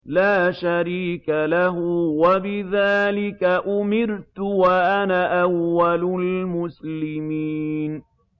لَا شَرِيكَ لَهُ ۖ وَبِذَٰلِكَ أُمِرْتُ وَأَنَا أَوَّلُ الْمُسْلِمِينَ